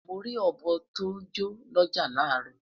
Mori obo to jọ n l'ọja laro